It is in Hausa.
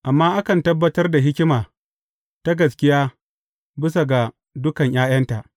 Amma akan tabbatar da hikima ta gaskiya bisa ga dukan ’ya’yanta.